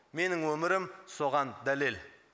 менің өмірім соған дәлел